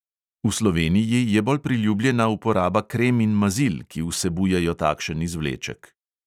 V sloveniji je bolj priljubljena uporaba krem in mazil, ki vsebujejo takšen izvleček.